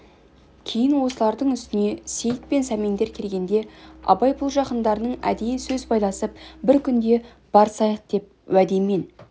кейін осылардың үстіне сейіт пен сәмендер келгенде абай бұл жақындарының әдейі сөз байласып бір күнде барысайық деп уәдемен